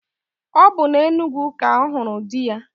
Ọ bụ na Enugwu ka ọ hụrụ di ya